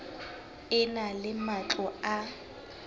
e na le matlo a